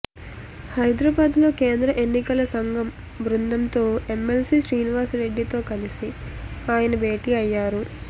హైదరాబాద్లో కేంద్ర ఎన్నికల సంఘం బృందంతో ఎమ్మెల్సీ శ్రీనివాస్రెడ్డితో కలిసి ఆయన భేటీ అయ్యారు